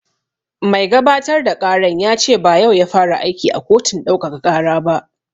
Mai gabatar da ƙaran ya ce ba yau ya fara aiki a kotun ɗaukaka ƙara ba